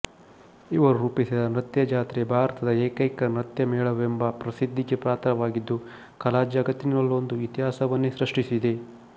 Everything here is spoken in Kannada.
ಇವರು ರೂಪಿಸಿದ ನೃತ್ಯಜಾತ್ರೆ ಭಾರತದ ಏಕೈಕ ನೃತ್ಯಮೇಳವೆಂಬ ಪ್ರಸಿದ್ಧಿಗೆ ಪಾತ್ರವಾಗಿದ್ದು ಕಲಾಜಗತ್ತಿನಲ್ಲೊಂದು ಇತಿಹಾಸವನ್ನೇ ಸೃಷ್ಟಿಸಿದೆ